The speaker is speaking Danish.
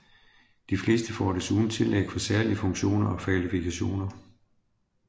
De fleste får desuden tillæg for særlige funktioner og kvalifikationer